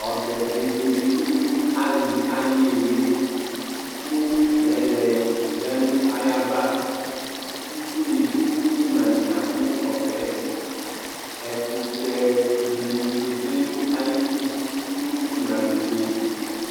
Ɔbɛbe dɩ eli nʋ alɩ ayʋ ɩɩlɩ kʋ mɛlɛ ya nʋ ayava Itsunɩ dʋ ɩmla nʋ ɩɣɩna kʋ ɔbɛ yɛ Ɛkʋtɛ dɩnɩ keze nʋ ayidu nʋ ɩmla netse